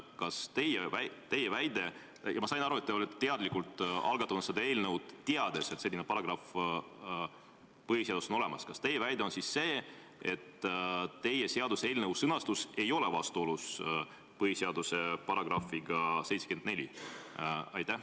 Kas teie väide – ma sain aru, et te olete teadlikult algatamas seda eelnõu, teades, et selline paragrahv põhiseaduses on olemas – on siis see, et teie seaduseelnõu sõnastus ei ole vastuolus põhiseaduse §-ga 74?